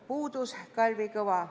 Puudus Kalvi Kõva.